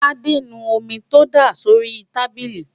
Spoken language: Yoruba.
tádé nu omi tó dà sórí táìlì